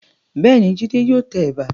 Bẹ́ẹ̀ni, Jídé yóò tẹ ẹ̀bà.